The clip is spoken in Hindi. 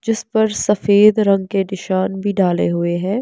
जिस पर सफेद रंग के निशान भी डाले हुए हैं।